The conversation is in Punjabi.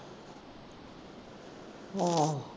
ਆਹੋ।